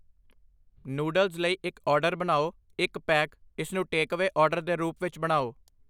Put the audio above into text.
noodles ਲਈ ਇੱਕ order ਬਣਾਓ ਇੱਕ ਪੈਕ ਇਸਨੂੰ ਟੇਕਅਵੇ ਆਰਡਰ ਦੇ ਰੂਪ ਵਿੱਚ ਬਣਾਓ